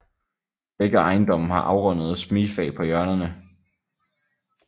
Begge ejendomme har afrundede smigfag på hjørnerne